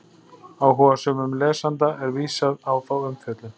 Áhugasömum lesanda er vísað á þá umfjöllun.